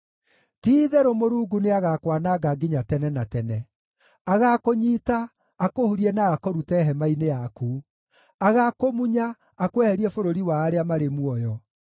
Ti-itherũ Mũrungu nĩagakwananga nginya tene na tene: Agakũnyiita, akũhurie na akũrute hema-inĩ yaku; agakũmunya akweherie bũrũri wa arĩa marĩ muoyo.